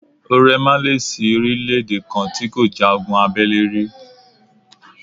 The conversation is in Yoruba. Ó ́rẹ̀ má lè sí orílè-èdè kan tí kò ja ogun abẹ́lé rí.